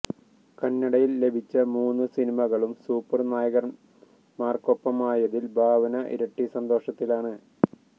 കന്നടയില് ലഭിച്ച മൂന്നു സിനിമകളും സൂപ്പര് നായകന്മാര്ക്കൊ പ്പമായതില് ഭാവന ഇരട്ടി സന്തോഷത്തിലാണ്